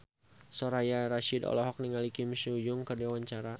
Soraya Rasyid olohok ningali Kim So Hyun keur diwawancara